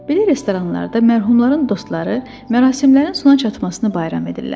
Belə restoranlarda mərhumların dostları mərasimlərin sona çatmasını bayram edirlər.